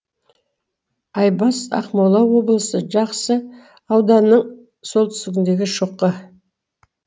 айбас ақмола облысы жақсы ауданының солтүстігіндегі шоқы